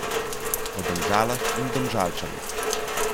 Po Domžalah in Domžalčanih.